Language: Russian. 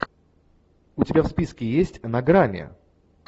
у тебя в списке есть на грани